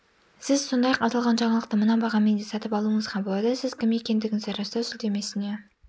сіз сондай-ақ аталған жаңалықты мына бағамен де сатып алуыңызға болады сіз кім екендігіңізді растау сілтемесіне